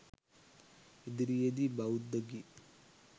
ඉදිරියේ දී බෞද්ධ ගී